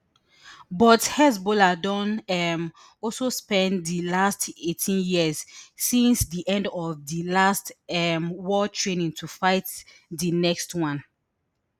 but hezbollah don um also spend di last eighteen years since di end of di last um war training to fight di next one